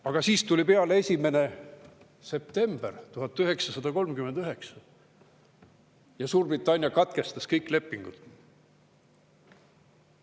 Aga siis tuli peale 1. september 1939 ja Suurbritannia katkestas kõik lepingud.